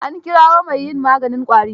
An kirawo mai yin maganin ƙwari.